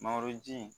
Mangoro ji